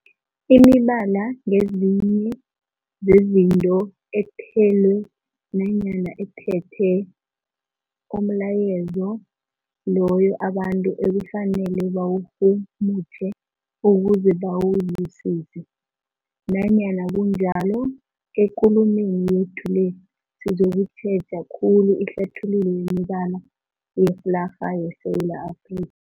Imibala ngezinye zezinto ethelwe nanyana ephethe umlayezo loyo abantu ekufanele bawurhumutjhe ukuze bawuzwisise. Nanyana kunjalo, ekulumeni yethu le sizokutjheja khulu ihlathululo yemibala yeflarha yeSewula Afri